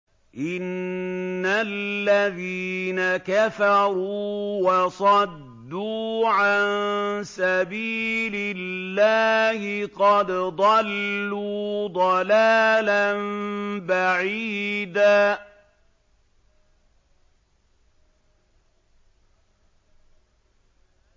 إِنَّ الَّذِينَ كَفَرُوا وَصَدُّوا عَن سَبِيلِ اللَّهِ قَدْ ضَلُّوا ضَلَالًا بَعِيدًا